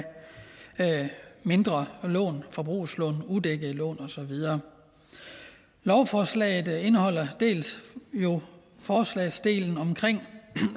mindre lån forbrugslån udækkede lån og så videre lovforslaget indeholder jo dels forslagsdelen om